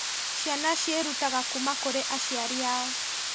Ciana ciĩrutaga kuma kurĩ aciari ao